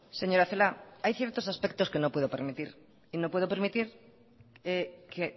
señora celaá hay ciertos aspectos que no puedo permitir y no puedo permitir que